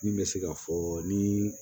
Min bɛ se ka fɔ ni